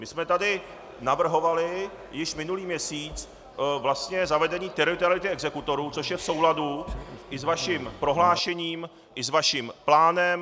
My jsme tady navrhovali již minulý měsíc zavedení teritoriality exekutorů, což je v souladu i s vaším prohlášením, i s vaším plánem.